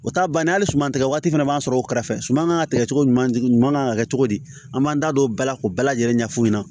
O t'a bannen hali suman tigɛ waati fana b'an sɔrɔ o kɛrɛfɛ suman kan ka kɛ cogo jumɛn kan ka kɛ cogo di an b'an da don o bɛɛ la k'o bɛɛ lajɛlen ɲɛ f'u ɲɛna